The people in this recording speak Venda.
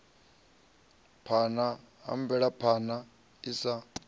phana ha mvelaphana i sa